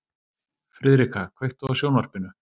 Friðrika, kveiktu á sjónvarpinu.